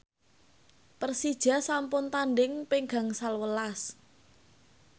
Persija sampun tandhing ping gangsal welas